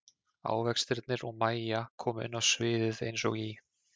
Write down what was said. Ávextirnir og Mæja koma inn á sviðið eins og í